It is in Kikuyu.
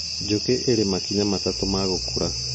Njũkĩ irĩ makinya matatũ ma gũkũra